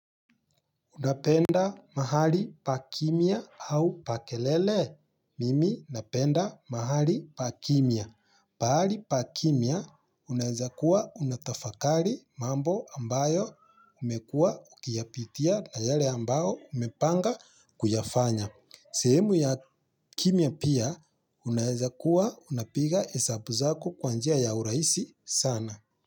Unapenda mahali pa kimya au pa kelele. Mimi napenda mahali pa kimya. Pahali pa kimya unaweza kuwa unatafakari mambo ambayo umekuwa ukiyapitia na yale ambayo umepanga kuyafanya. Sehemu ya kimya pia unaweza kuwa unapiga hesabu zako kwa njia ya urahisi sana.